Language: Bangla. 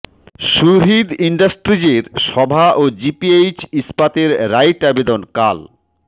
সুহৃদ ইন্ডাস্ট্রিজের সভা ও জিপিএইচ ইস্পাতের রাইট আবেদন কাল